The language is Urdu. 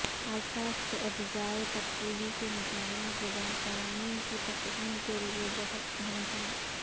الفاظ کے اجزائے ترکیبی کے مطالعہ زبان قوانین کی تفہیم کے لیے بہت اہم ہے